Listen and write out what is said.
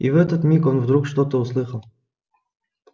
и в этот миг он вдруг что-то услыхал